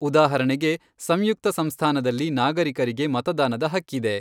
ಉದಾಹರಣೆಗೆ, ಸಂಯುಕ್ತ ಸಂಸ್ಥಾನದಲ್ಲಿ ನಾಗರಿಕರಿಗೆ ಮತದಾನದ ಹಕ್ಕಿದೆ.